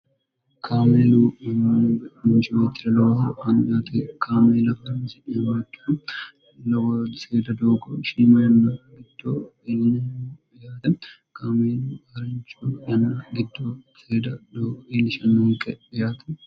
kaamelu mgincitir lowh annte kaamela lw seeda doogo shiima yanna bitto ilye kaamelu harincho yanna bitto seed dgiilishnnonqe eyaate